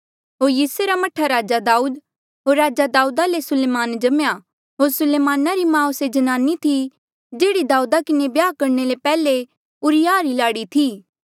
होर यिसै रा मह्ठा राजा दाऊद होर राजा दाऊदा ले सुलेमान जम्मेया होर सुलेमाना री माऊ से जन्नानी थी जेहड़ी दाऊदा किन्हें ब्याह करणे ले पैहले उरिय्याहा री लाड़ी थी